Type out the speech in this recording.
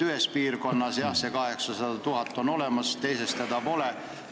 Ühes piirkonnas, jah, on vähemalt 800 000 elanikku olemas, teises pole.